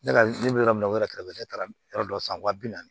Ne ka ne bɛ yɔrɔ min na o yɛrɛ kɛrɛfɛ ne taara yɔrɔ dɔ san wa bi naani